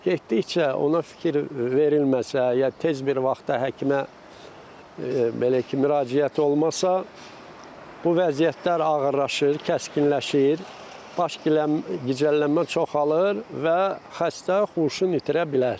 Getdikcə ona fikir verilməsə, ya tez bir vaxtda həkimə belə ki, müraciət olmasa, bu vəziyyətlər ağırlaşır, kəskinləşir, baş gicəllənmə çoxalır və xəstə huşunu itirə bilər.